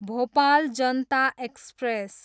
Bhopal Janata express